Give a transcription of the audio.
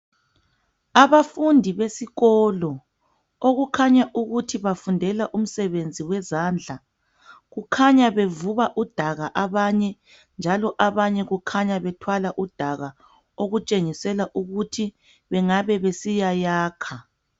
Abafundi besikolo okukhanya ukuthi bafundela umsebenzi wezandla kukhanya bevuba udaka abanye njalo abanye kukhanya bethwala udaka ukuthi bengabe besiyayakha.